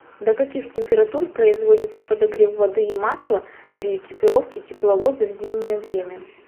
до каких температур производится подогрев воды и масла при экипировке тепловоза в зимнее время